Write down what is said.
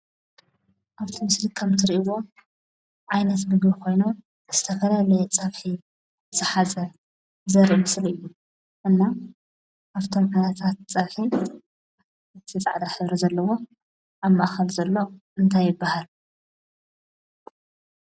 ኣብዚ ምስሊ ከም ትሪእይዎ ዓይነት ምግቢ ኮይኖም ዝተፈላለየ ፀብሒ ዝሓዘ ዘርኢ ምስሊ እዩ። እና ካብቶም ዓይነታት ፀብሒ እቲ ፃዕዳ ሕብሪ ዘለዎ ኣብ ማእኸል ዘሎ እንታይ ይበሃል?